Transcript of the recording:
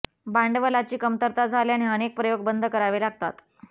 भांडवलाची कमरता झाल्याने अनेक प्रयोग बंद करावे लागतात